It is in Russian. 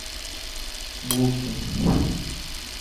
булкин